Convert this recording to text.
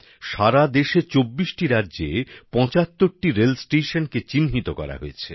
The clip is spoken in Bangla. সারা দেশে ২৪টি রাজ্যে ৭৫টি রেল স্টেশনের চিহ্নিত করা হয়েছে